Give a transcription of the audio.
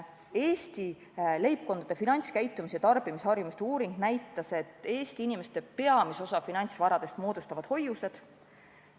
Eesti leibkondade finantskäitumise ja tarbimisharjumuste uuring näitas, et peamise osa Eesti inimeste finantsvarast moodustavad hoiused.